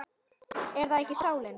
Er það ekki sálin?